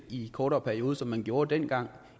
i en kortere periode som man gjorde dengang